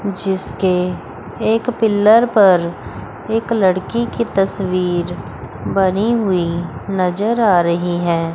जिसके एक पिलर पर एक लड़की की तस्वीर बनी हुई नजर आ रही हैं।